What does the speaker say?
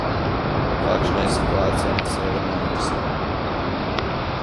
Kakšna je situacija na Severnem Irskem?